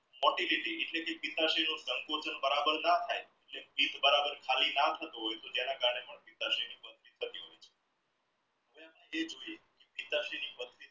motility એટલે કે સંકોચન બરાબર ન થાય પેટ બરાબર ખાલી ના થતું હોય તો તેના કારણે